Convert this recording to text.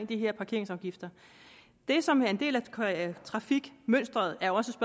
de her parkeringsafgifter det som er en del af trafikmønsteret er også